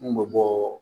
Mun bɛ bɔɔɔ